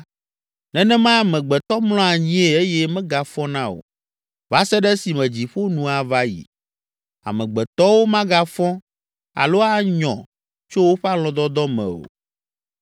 nenemae amegbetɔ mlɔa anyie eye megafɔna o va se ɖe esime dziƒo nu ava yi. Amegbetɔwo magafɔ alo anyɔ tso woƒe alɔ̃dɔdɔ me o.